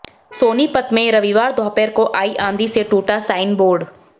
सोनीपत में रविवार दोपहर को आई आंधी से टूटा साइन बोर्ड